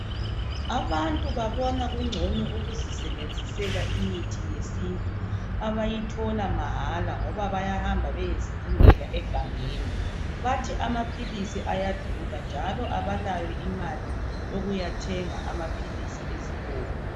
Abantu babona kungcono ukuzisebenzisela imithi yesintu abayithola mahala ngoba bayahamba beyezidingela egangeni. Bathi amaphilisi ayadula njalo abalayo imali yokuyathenga amaphilisi ezitolo.